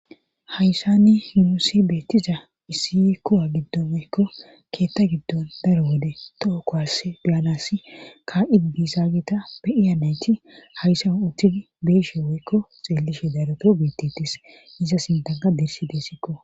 hayssanni yuusi beettiza issi kuwa giddomeykko keetta giddon daro wode tookkowhasse biyanasi ka7idi biisa geeta be iyanayti hayssa uthidi beishe woykko xeellishe daropeo bittitis iza sintanka dirsi deessikko